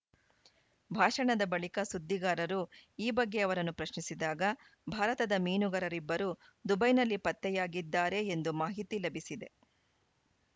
ಭಾಷಣದ ಬಳಿಕ ಸುದ್ದಿಗಾರರು ಈ ಬಗ್ಗೆ ಅವರನ್ನು ಪ್ರಶ್ನಿಸಿದಾಗ ಭಾರತದ ಮೀನುಗಾರರಿಬ್ಬರು ದುಬೈನಲ್ಲಿ ಪತ್ತೆಯಾಗಿದ್ದಾರೆ ಎಂದು ಮಾಹಿತಿ ಲಭಿಸಿದೆ